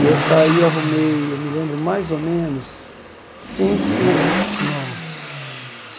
E eu saí, arrumei, eu me lembro, mais ou menos, cinco clientes novos.